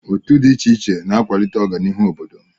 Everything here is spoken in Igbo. Otu dị iche iche na-akwalite ọganihu obodo.